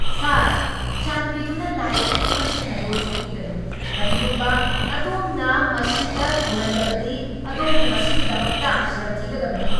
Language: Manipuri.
ꯁꯥꯔ, ꯆꯥꯟꯕꯤꯗꯨꯅ ꯂꯥꯏ ꯑꯌꯦꯛꯄꯁꯤꯡ ꯑꯗꯨ ꯁꯣꯛꯄꯤꯒꯅꯨ! ꯀꯔꯤꯒꯨꯝꯕ ꯑꯗꯣꯝꯅ ꯃꯁꯤꯗ ꯆꯨꯍꯜꯂꯕꯗꯤ, ꯑꯗꯣꯝꯅ ꯃꯁꯤꯒꯤꯗꯃꯛꯇ ꯁꯦꯜ ꯊꯤꯒꯗꯕꯅꯤ꯫